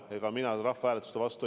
Ega mina ei ole rahvahääletuste vastu.